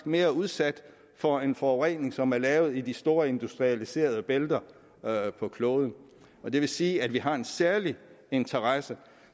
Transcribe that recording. mere udsat for en forurening som er lavet i de store industrialiserede bælter på kloden og det vil sige at vi har en særlig interesse